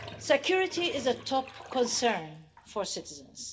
Security is a top concern for citizens.